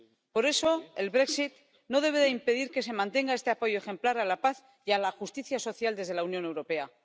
Por eso, el Brexit no debe impedir que se mantenga este apoyo ejemplar a la paz y a la justicia social desde la Unión Europea.